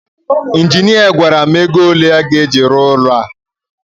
injinia gwara m ego ole a ga-eji rụọ ụlọ a